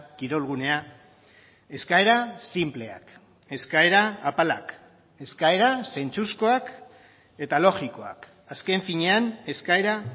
kirolgunea eskaera sinpleak eskaera apalak eskaera zentzuzkoak eta logikoak azken finean eskaera